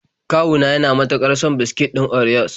Kawu na yana mutuƙar son biskit ɗin orios.